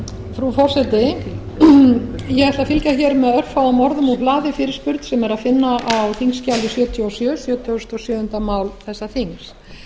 frú forseti ég ætla að fylgja með örfáum orðum úr hlaði fyrirspurn sem er að finna á þingskjali sjötíu og sjö sjötugasta og sjöunda mál þessa þings